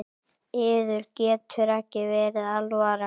Yður getur ekki verið alvara?